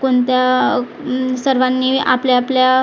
कोणत्या उम्म सर्वांनी आपल्या आपल्या--